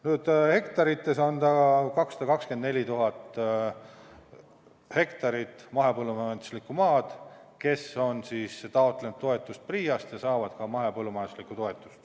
Kui rääkida hektaritest, siis on meil 224 000 hektarit mahepõllumajanduslikku maad, millele on taotletud toetust PRIA-st ja saadakse ka mahepõllumajanduse toetust.